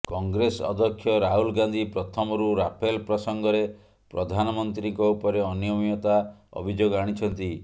କଂଗ୍ରେସ ଅଧ୍ୟକ୍ଷ ରାହୁଲ ଗାନ୍ଧି ପ୍ରଥମରୁ ରାଫେଲ ପ୍ରସଙ୍ଗରେ ପ୍ରଧାନମନ୍ତ୍ରୀଙ୍କ ଉପରେ ଅନିୟମିତତା ଅଭିଯୋଗ ଆଣିଛନ୍ତି